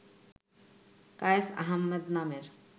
কায়েস আহাম্মেদ নামের